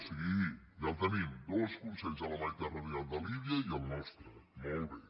sí ja el tenim dos consells a la mediterrània el de líbia i el nostre molt bé